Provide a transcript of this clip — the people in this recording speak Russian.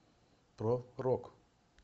про рок